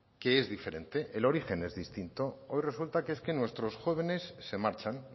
que es diferente el origen es distinto hoy resulta que es que nuestros jóvenes se marchan